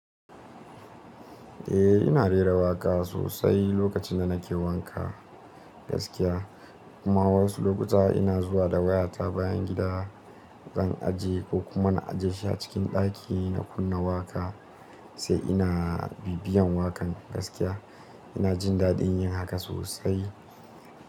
Eh ina rera waƙa sosai lokacin da nake wanka gaskiya. Kuma wasu lokuta ina zuwa da wayata bayan gida zan aje ko kuma na aje shi a cikin ɗaki na kunna waƙa sai ina bibiyan waƙan gaskiya. Ina jin daɗin yin haka sosai.